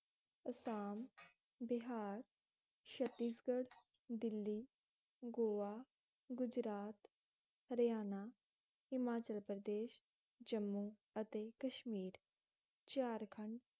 ਅਸਾਮ ਬਿਹਾਰ, ਛਤੀਸਗੜ੍ਹ, ਦਿੱਲੀ, ਗੋਆ, ਗੁਜਰਾਤ, ਹਰਿਆਣਾ, ਹਿਮਾਚਲ ਪ੍ਰਦੇਸ਼, ਜੰਮੂ ਅਤੇ ਕਸ਼ਮੀਰ, ਝਾਰਖੰਡ